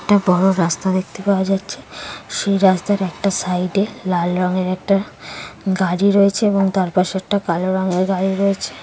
একটা বড় রাস্তা দেখতে পাওয়া যাচ্ছে সেই রাস্তার একটা সাইডে লাল রঙের একটা গাড়ি রয়েছে এবং তার পাশে একটা কালো রংয়ের গাড়ি রয়েছে।